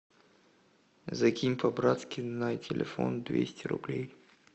закинь по братски на телефон двести рублей